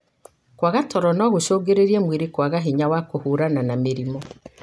Kwaga toro no gũcungĩrĩrĩrie mwĩrĩ kwaga hinya wa kũhũrana na mĩrimũ.